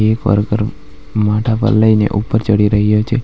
એક વર્કર માથા પર લઈને ઉપર ચડી રહ્યો છે.